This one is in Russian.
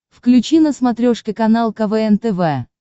включи на смотрешке канал квн тв